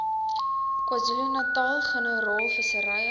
kzn garnaal visserye